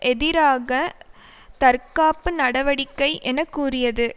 எதிராக தற்காப்பு நடவடிக்கை என கூறியது